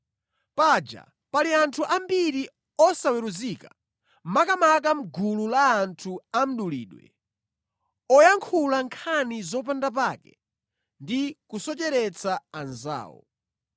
Paja pali anthu ambiri osaweruzika, makamaka mʼgulu la anthu a mdulidwe, oyankhula nkhani zopanda pake ndi kusocheretsa anzawo.